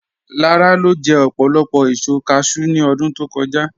Làrà lo jẹ̀ òpólopò èṣò càshẹw ní ọdún tó kọ̀jà